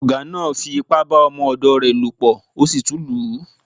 Ọ̀gá náá fi ipá bá ọmọ ọ̀dọ̀ rẹ̀ lò pọ̀ ó sì tún lù ú